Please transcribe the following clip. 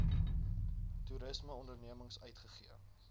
toerisme ondernemings uitgegee